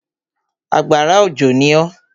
Àgbàrá òjò ní oo.